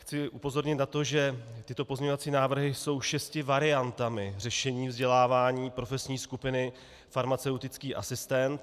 Chci upozornit na to, že tyto pozměňovací návrhy jsou šesti variantami řešení vzdělávání profesní skupiny farmaceutický asistent.